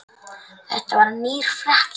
Þetta var nýr frakki.